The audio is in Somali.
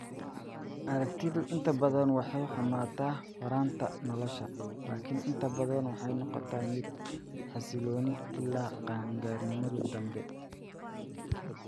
Aragtidu inta badan way xumaataa horraanta nolosha, laakiin inta badan waxay noqotaa mid xasilloon ilaa qaan-gaarnimada dambe.